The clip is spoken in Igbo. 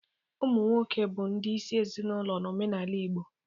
Ụmụ nwoke bụ ndị isi ezinaụlọ n'omenala Igbo.